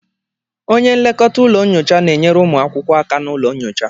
onye nlekọta ụlọ nyocha na-enyere ụmụ akwụkwọ aka na ụlọ nyocha